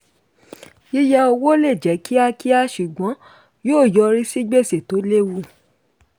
yíyá owó ó lè jẹ́ kíákíá ṣùgbọ́n yóò yọrí sí gbèsè tó lewu.